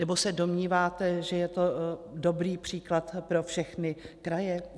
Nebo se domníváte, že je to dobrý příklad pro všechny kraje?